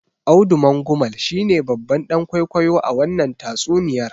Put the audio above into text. Audu Mangumal shine babban dan kwaikwayo a wannan tatsuniyar.